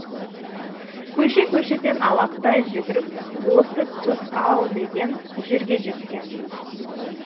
көше көшеден алақтай жүгіріп осы тұс ау деген жерге жеткен